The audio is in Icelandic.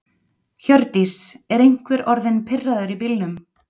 Hjördís: Er einhver orðinn pirraður í bílnum?